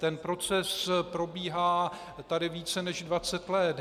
Ten proces probíhá tady více než 20 let.